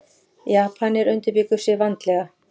Japanar undirbjuggu sig vandlega.